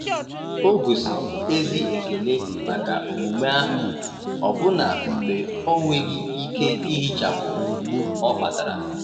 ogosiri ezi ekele maka omume ahụ, ọbụna mgbe ọ nweghị ike ihichapụ mgbu ọ kpatara.